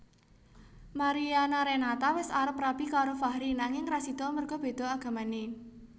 Mariana Renata wis arep rabi karo Fahri nanging ra sido merga beda agamane